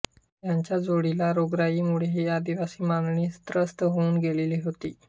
त्याच्या जोडीला रोगराईमुळे ही आदिवासी मांडळी त्रस्त होऊन गेलेली होती